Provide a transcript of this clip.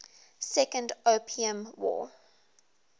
second opium war